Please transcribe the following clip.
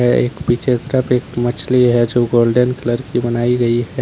यह एक पिक्चर का एक मछली है जो गोल्डन कलर की बनाई गई है।